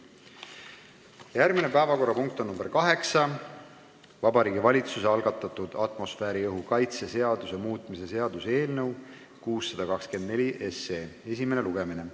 Järgmine päevakorrapunkt on nr 8: Vabariigi Valitsuse algatatud atmosfääriõhu kaitse seaduse muutmise seaduse eelnõu 624 esimene lugemine.